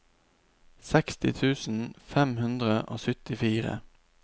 seksti tusen fem hundre og syttifire